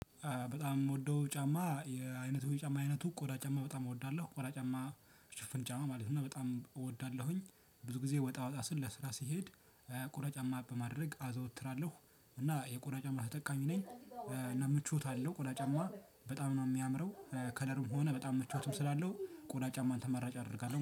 በጣም የምወደው ጫማ የአይነቱ ጫማ አይነቱ ቆዳ ጫማ በጣም እወዳለሁ ቆዳ ጫማ ሽፍን ጫማ ማለት ነው። በጣም እወዳለሁኝ ብዙ ጊዜ ወጣ ወጣ ስለ ስራ ሲሄድ። ቆዳ ጫማ በማድረግ አዘወትራለሁ እና የቆዳ ጫማ ተጠቃሚ ነኝ። እና ምቾት አለው ቆዳ ጫማ በጣም ነው የሚያምረው። ከለርም ሆነ በጣም ምቾትም ስላለው ቆዳ ጫማን ተመራጭ አደርጋለሁ